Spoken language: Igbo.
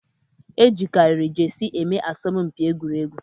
Ejikariri jesie eme aso m mkpi egwuregwu